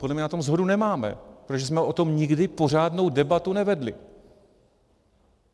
Podle mě na tom shodu nemáme, protože jsme o tom nikdy pořádnou debatu nevedli.